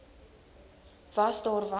was daar was